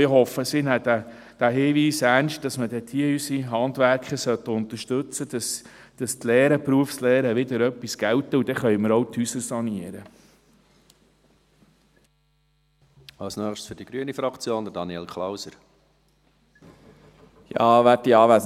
Ich hoffe, sie nehmen den Hinweis ernst, dass unsere Handwerker dort unterstützt werden sollten, damit die Berufslehren wieder etwas gelten, und dann können wir auch die Häuser sanieren.